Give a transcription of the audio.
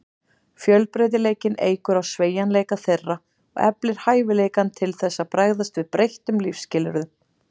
Fjölbreytileikinn eykur á sveigjanleika þeirra og eflir hæfileikann til þess að bregðast við breyttum lífsskilyrðum.